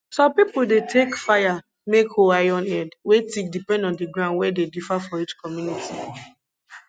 some pipo dey take fire make hoe iron head wey thick depend on di ground wen dey differ for each community